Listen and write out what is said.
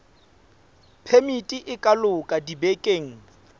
phemiti e ka loka dibekeng